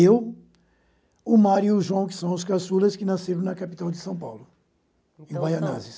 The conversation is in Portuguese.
Eu, o Mário e o João, que são os caçulas, que nasceram na capital de São Paulo, em Baianazes.